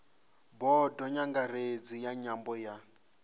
bodo nyangaredzi ya nyambo ya